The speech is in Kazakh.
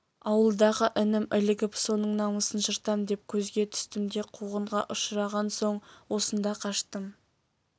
ауылдағы інім ілігіп соның намысын жыртам деп көзге түстім де қуғынға ұшыраған соң осында қаштым